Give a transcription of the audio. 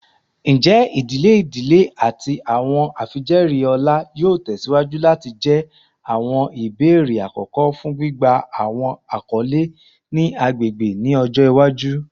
Njẹ idile idile ati awọn afijẹẹri ọlá yoo tẹsiwaju lati jẹ awọn ibeere akọkọ fun gbigba awọn akọle ni agbegbe ni ọjọ iwaju?